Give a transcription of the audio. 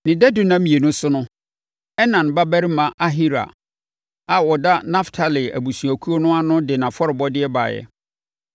Ne dadu nna mmienu so no, Enan babarima Ahira a ɔda Naftali abusuakuo ano no de nʼafɔrebɔdeɛ baeɛ.